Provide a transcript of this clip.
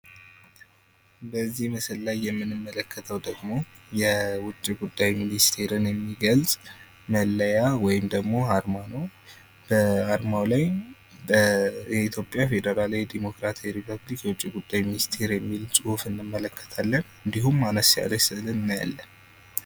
በዚህ ምስል ላይ የምንመለከተው ደግሞ የውጭ ጉዳይ ሚኒስትርን የሚገልጽ መለያ ወይም ደግሞ አርማው ላይ በኢትዮጵያ ፌዴራላዊ ዴሞክራሲያዊ ሪፐብሊክ የውጭ ጉዳይ ሚኒስቴር የሚል ጽሑፍ እንመለከታለን። እንድሁም አነስ ያለች ስዕል እናያለን።